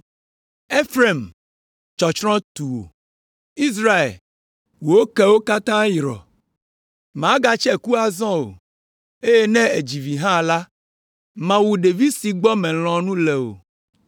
Efraim, tsɔtsrɔ̃ tu wò. Israel, wò kewo katã yrɔ, màgatse ku azɔ o, eye ne èdzi vi hã la, mawu ɖevi si gbɔ womelɔ̃ nu le o.”